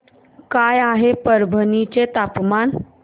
काय आहे परभणी चे तापमान